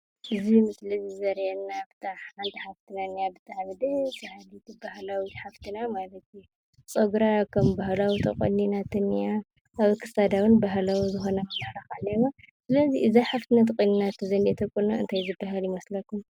እዚ ምስሊ እዙይ ዘርእየና ሓንቲ ሓፍትና እኒኣ ብጣዕሚ ደስ ባሃሊት ባህላዊት ሓፈትና ማለት እዩ። ፀጉራ ከም ባህላዊ ተቆኒናቶ እኒኣ ኣብ ክሳዳ እውን ባህላዊ ዝኮነ መመላክዒ እኒሀዋ ስለዚ እዛ ሓፍትና ተቀኒናቶ ዝኒአቶ ቁናኖ እንታይ ዝባሃል ይመስለኩም?